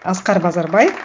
асқар базарбай